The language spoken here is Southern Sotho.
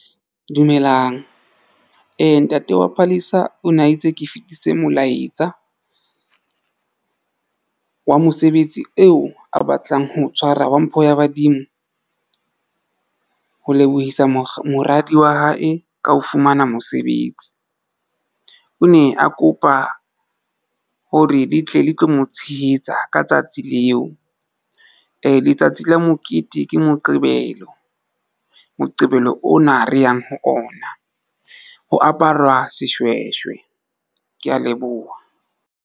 Dumelang, ntate wa Palesa o ne a itse ke fetise molaetsa wa mosebetsi eo a batlang ho tshwara wa mpho ya badimo ho lebohisa mora moradi wa hae ka ho fumana mosebetsi. O ne a kopa hore le tle le tlo mo tshehetsa ka tsatsi leo. Ee, letsatsi la mokete ke moqebelo. Moqebelo ona re yang ho ona ho apara seshweshwe. Ke ya leboha.